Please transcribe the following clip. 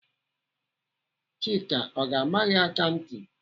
Chika ọ ga-ama gị aka ntị?